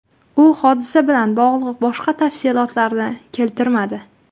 U hodisa bilan bog‘liq boshqa tafsilotlarni keltirmadi.